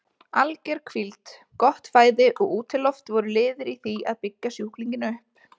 Alger hvíld, gott fæði og útiloft voru liðir í því að byggja sjúklinginn upp.